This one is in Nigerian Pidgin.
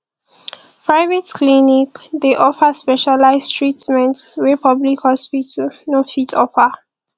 private clinic dey offer specialize treatment wey public hospital no fit offer